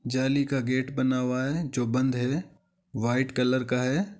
जाली का गेट बना हुआ है जो बंद है व्हाइट कलर का है।